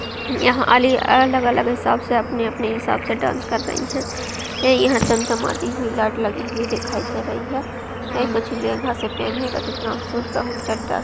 यहाँ अलग-अलग हिसाब से अपने-अपने हिसाब से डांस कर रही हैं । यहां चमचमाति हुई लाइट लगी हुई दिखाई दे रही है। ऐं कछु लेहंगा‌ से पहने है कछु फ्राक सूट का चड्डा --